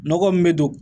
Nɔgɔ min bɛ don